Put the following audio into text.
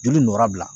Joli nɔ bila